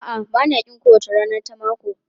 A'a, ba na ƙin kowace rana ta mako.